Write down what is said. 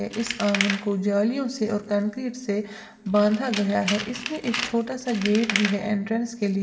इस आंगन को जालियों से और कंक्रीट से बांधा गया है इसमें एक छोटा सा गेट भी है एंट्रेंस के लिए।